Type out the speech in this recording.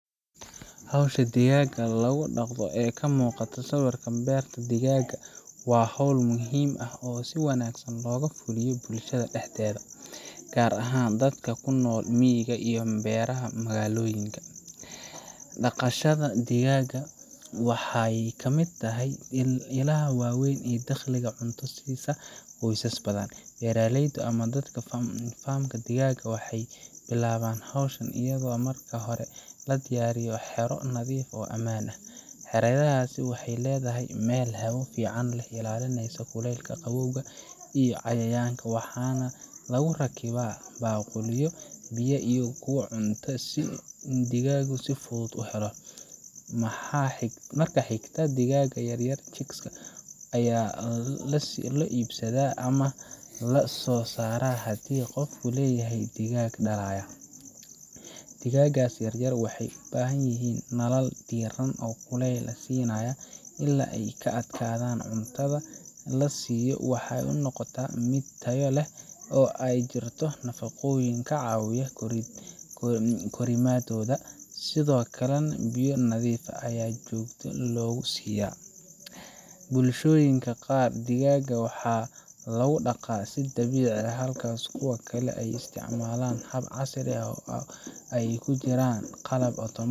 Howsha digaagga lagu dhaqdo ee ka muuqata sawirka beerta digaagga waa hawl muhiim ah oo si wanaagsan looga fuliyo bulshada dhexdeeda, gaar ahaan dadka ku nool miyiga iyo beeraha magaalooyinka. Dhaqashada digaagga waxay ka mid tahay ilaha waaweyn ee dakhli iyo cunto siisa qoysas badan. Beeraleyda ama dadka leh farm ka digaagga waxay bilaabaan hawsha iyadoo marka hore la diyaariyo xero nadiif ah oo ammaan ah – xeradaasna waxay leedahay meel hawo fiican leh, ilaalinaysa kuleylka, qabowga, iyo cayayaanka. Waxaa lagu rakibaa baaquliyo biyaha iyo kuwa cuntada si digaaggu si fudud u helo. Marka xiga, digaagga yaryar chicks ayaa la soo iibsadaa ama la soo saaraa haddii qofku leeyahay digaag dhalaya. Digaaggaas yar yar waxay u baahan yihiin nalal diiran oo kuleyl siinaya ilaa ay ka adkaadaan. Cuntada la siiyo waxay noqotaa mid tayo leh oo ay ku jirto nafaqooyin ka caawinaya korriimadooda, sidoo kalena biyo nadiif ah ayaa joogto loogu siiyaa. Bulshooyinka qaar, digaagga waxa lagu dhaqaa si dabiici ah, halka kuwa kale ay isticmaalaan hab casri ah oo ay ku jiraan qalab otomaatig